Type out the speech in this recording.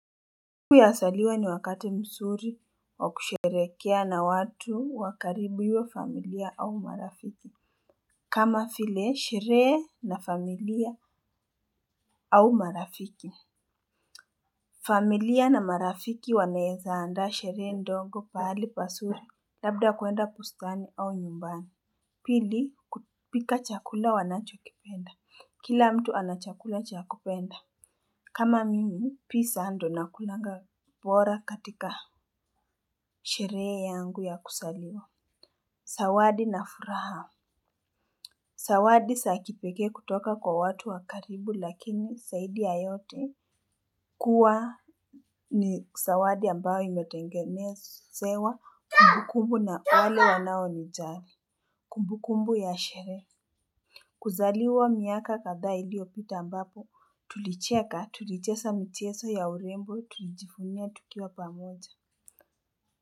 Sikukuu ya kuzaliwa ni wakati mzuri wa kusherekea na watu wa karibu iwe familia au marafiki. Kama vile sherehe na familia au marafiki. Familia na marafiki wanaweza andaa sherehe ndogo pahali pazuri. Labda kwenda bustani au nyumbani. Pili kupika chakula wanachokipenda kila mtu ana chakula chakupenda. Kama mimi pizza ndo na kulaga bora katika sherehe yangu ya kuzaliwa. Zawadi na furaha. Zawadi za kipekee kutoka kwa watu wa karibu lakini zaidi ya yote kuwa ni zawadi ambayo imetengenezewa kumbukumbu na wale wanao nijali. Kumbukumbu ya sheree. Kuzaliwa miaka kadhaa iliyopita ambapo tulicheka tulicheza michezo ya urembo tulijivunia tukiwa pamoja.